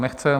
Nechce.